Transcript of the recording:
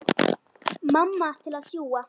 Mamma til að sjúga.